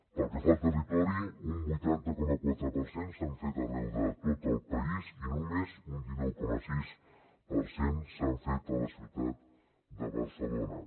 pel que fa al territori un vuitanta coma quatre per cent s’han fet arreu de tot el país i només un dinou coma sis per cent s’han fet a la ciutat de barcelona